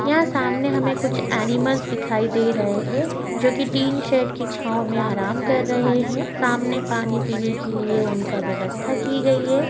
यहाँ सामने हमे कूछ एनिमल्स दिखाई दे रहे है जो की टिन शेट की छावमें आराम कर रहे है। सामने पानी पीने के लीये ऊनका व्यवस्था की गई है।